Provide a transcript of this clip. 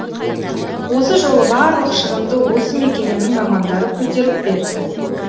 осы жолы барлық шығынды осы мекеменің мамандары көтеріп берді